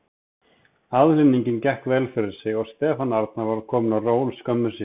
Aðhlynningin gekk vel fyrir sig og Stefán Arnar var kominn á ról skömmu síðar.